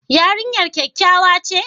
Yarinyar kyakkyawa ce?